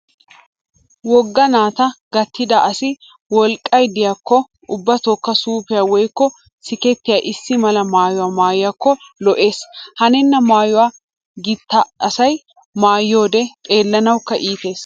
Wogga naata gattida asi wolqqay diyaakko ubbatookka suufiya woykko sikkettiyaa issi mala maayuwa maayiyaakko lo'ees. Hanenna maayuwa gita asay maayiyoodee xeellanawukka iitees.